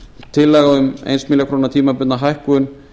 tillaga um eina milljón króna tímabundna hækkun